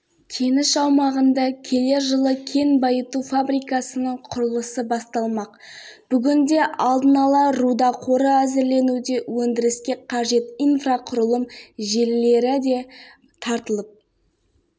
ұзақ жылдар бойы тоқтап қалған өндірістің бойына қайта қан жүгірту үшін көп жұмыс жасалды бұл жерде